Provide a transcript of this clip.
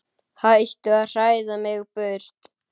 Hættu að hræða mig burt.